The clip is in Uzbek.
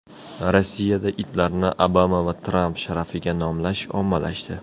Rossiyada itlarni Obama va Tramp sharafiga nomlash ommalashdi.